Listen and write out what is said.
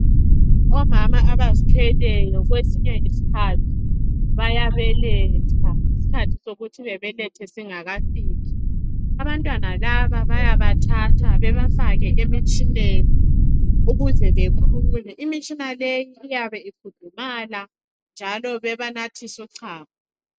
Omama abazithweleyo kwesinye isikhathi bayabeletha isikhathi sokuthi bebelethe singakafiki. Abantwana laba bayabathatha bebafake emtshineni ukuze bekhule. Imitshina le iyabe ikhudumala njalo bebanathisa uchago.